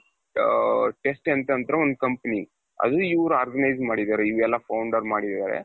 Testing Centerರು ಒಂದ್ company ಅದು ಇವರು organize ಮಾಡಿದ್ದಾರೆ ಇವರೆಲ್ಲಾ founder ಮಾಡಿದ್ದಾರೆ.